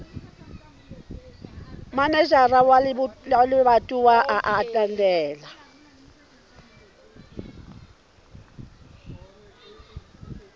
manejara wa lebatowa a ananela